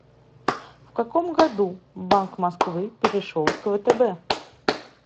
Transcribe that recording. в каком году банк москвы перешел к втб